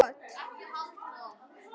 Þeir eru náskyldir Jemenum.